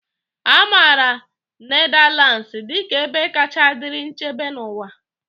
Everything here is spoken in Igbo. A maara Netherlands dị ka ebe kacha dịrị nchebe n'ụwa.